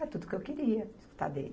É tudo que eu queria, escutar dele.